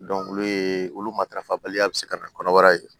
olu ye olu matarafabaliya bɛ se ka na kɔnɔbara ye